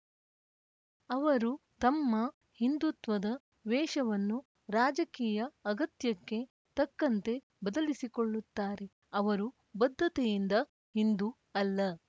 ಅವರು ತಮ್ಮ ಹಿಂದುತ್ವದ ವೇಷವನ್ನು ರಾಜಕೀಯ ಅಗತ್ಯಕ್ಕೆ ತಕ್ಕಂತೆ ಬದಲಿಸಿಕೊಳ್ಳುತ್ತಾರೆ ಅವರು ಬದ್ಧತೆಯಿಂದ ಹಿಂದೂ ಅಲ್ಲ